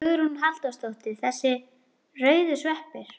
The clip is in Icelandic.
Hugrún Halldórsdóttir: Þessir rauðu sveppir?